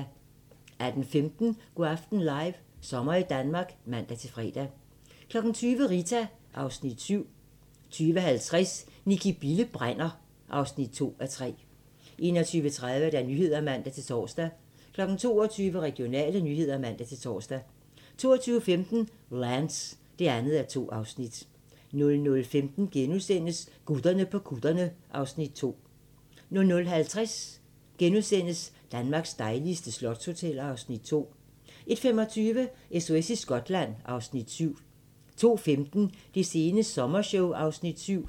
18:15: Go' aften live - sommer i Danmark (man-fre) 20:00: Rita (Afs. 7) 20:50: Nicki Bille brænder (2:3) 21:30: Nyhederne (man-tor) 22:00: Regionale nyheder (man-tor) 22:15: Lance (2:2) 00:15: Gutterne på kutterne (Afs. 2)* 00:50: Danmarks dejligste slotshoteller (Afs. 2)* 01:25: SOS i Skotland (Afs. 7) 02:15: Det sene sommershow (Afs. 7)